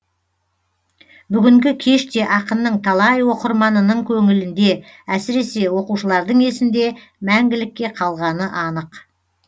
бүгінгі кеш те ақынның талай оқырманының көңілінде әсіресе оқушылардың есінде мәңгілікке қалғаны анық